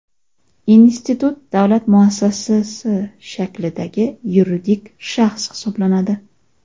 Institut davlat muassasasi shaklidagi yuridik shaxs hisoblanadi.